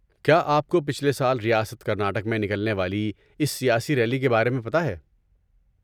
کیا آپ کو پچھلے سال ریاست کرناٹک میں نکلنے والی اس سیاسی ریلی کے بارے میں پتہ ہے؟